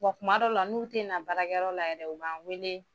Wa tuma dɔw la n'u te na baarakɛyɔrɔ la yɛrɛ u b'an weele